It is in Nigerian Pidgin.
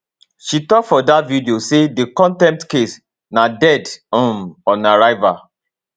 she tok for dat video say di contempt case na dead um on arrival